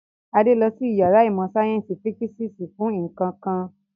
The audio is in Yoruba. Adé lọ sí ìyàrá ìmọ̀-sáyẹ́ńsì físíkísì fún nǹkan kan.